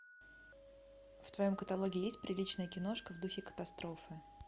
в твоем каталоге есть приличная киношка в духе катастрофы